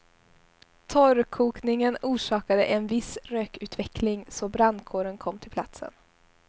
Torrkokningen orsakade en viss rökutveckling så brandkåren kom till platsen.